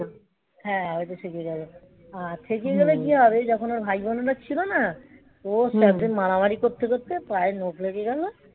হ্যাঁ ওইটা থেকে গেল সেদিন কি হল যখন ওর ভাইবোনেরা ছিল না. ওর সাথে মারামারি করতে করতে পায়ে নখ লেগে গেল